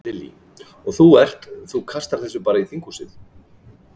Lillý: Og þú ert, þú kastar þessu bara í þinghúsið?